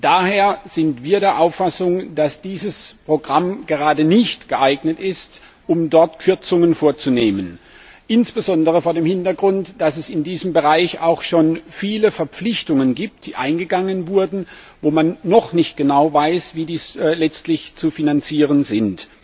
Daher sind wir der Auffassung, dass dieses Programm gerade nicht dazu geeignet ist, dort Kürzungen vorzunehmen insbesondere vor dem Hintergrund, dass es in diesem Bereich auch schon viele Verpflichtungen gibt, die eingegangen wurden, wo man noch nicht genau weiß, wie sie letztlich zu finanzieren sind.